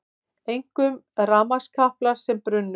Einkum rafmagnskaplar sem brunnu